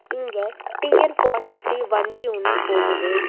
இங்க T N forty three வண்டி ஒன்னு போகுது.